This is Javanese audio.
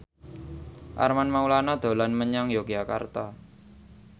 Armand Maulana dolan menyang Yogyakarta